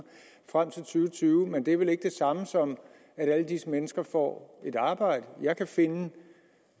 tyve men det er vel ikke det samme som at alle disse mennesker får et arbejde jeg kan finde